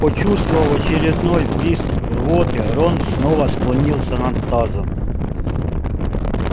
почувствовав очередной приступ рвоты рон снова склонился над тазом